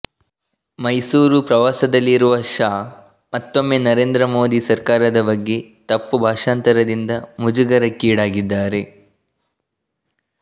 ಮೈಸೂರು ಪ್ರವಾಸದಲ್ಲಿರುವ ಶಾ ಮತ್ತೊಮ್ಮೆ ನರೇಂದ್ರ ಮೋದಿ ಸರ್ಕಾರದ ಬಗ್ಗೆ ತಪ್ಪು ಭಾಷಾಂತರದಿಂದ ಮುಜುಗರಕ್ಕೀಡಾಗಿದ್ದಾರೆ